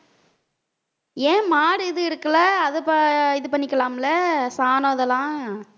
ஏன் மாடு இது இருக்குல்ல அதை ப~ இது பண்ணிக்கலாம்ல சாணம் இதெல்லாம்